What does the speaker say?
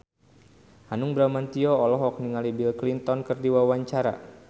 Hanung Bramantyo olohok ningali Bill Clinton keur diwawancara